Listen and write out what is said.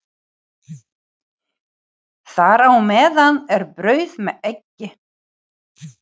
Þar á meðal er brauð með eggi.